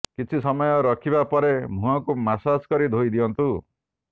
କିଛି ସମୟ ରଖିବା ପରେ ମୁହଁକୁ ମସାଜ କରି ଧୋଇ ଦିଅନ୍ତୁ